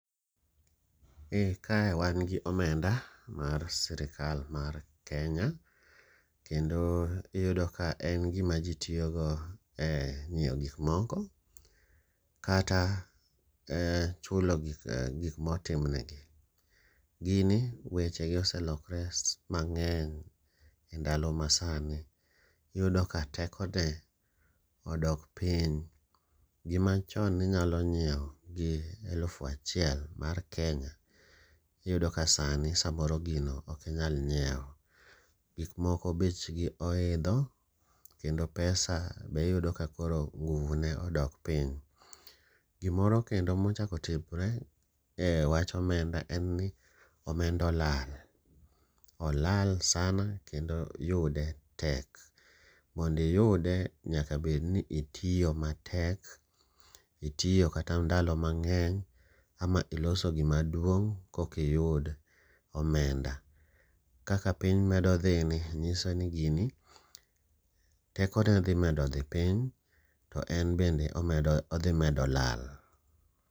Eh ka wan gi omenda mar sir kal mar Kenya, kendo iyudo ka en gima ji tiyogo e nyiewo gik moko kata chulo gik ma otim negi. Gini wechegi oselokre mang'eny endalo masani. Iyudo ka tekone odok piny. Gimachon ne inyalo nyiewo gi elufu achiel sani ok inyal nyiewo. Iyudo ka sani samoro gino ok inyal nyiewo. Gik moko bechgi oidho kendo pesa be iyudo kakoro nguvu ne odok piny. Gimoro kendo ma ochako otimore ewach omenda en ni omenda olal. Olal sana kendo yude tek, mondo iyude nyaka bed ni itiyo matek, itiyo kata ndalo mang'eny, ama iloso gima duong' kokiyud omenda. Kaka piny medo dhini nyiso ni gini tekone dhi medo dhi piny to en bende omedo odhi medo lal.